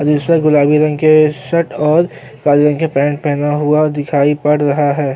जिसे गुलाबी आंखें शर्ट और काले रंग का पेंट पहना हुआ दिखाई पड़ रहा है।